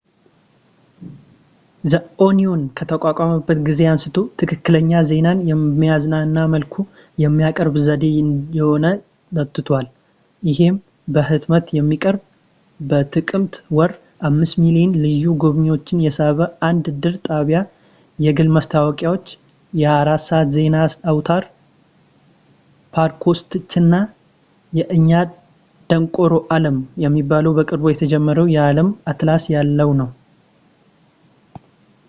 the onion ከተቋቋመበት ጊዜ አንስቶ ፣ ትክክለኛ ዜናን በሚያዝናና መልኩ የሚያቀርብ ዘዴ እየሆነ መጥቷል ፣ ይህም በሕትመት የሚቀርብ፣ በጥቅምት ወር 5,000,000 ልዩ ጎብኚዎችን የሳበ አንድ ድር ጣቢያ ፣ የግል ማስታወቂያዎች ፣ የ 24 ሰዓት የዜና አውታር ፣ ፖድካስቶች እና የእኛ ደንቆሮ ዓለም የሚባለው በቅርቡ የተጀመረው የዓለም አትላስ ያለው ነው